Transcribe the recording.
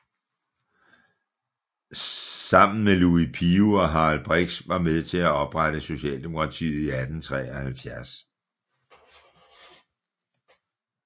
Sammen med Louis Pio og Harald Brix var med til at oprette Socialdemokratiet i 1873